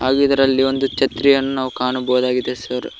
ಗೂ ಇದ್ರಲ್ಲಿ ಒಂದು ಛತ್ರಿಯನ್ನು ನಾವು ಕಾಣಬಹುದಾಗಿದೆ ಸರ್ .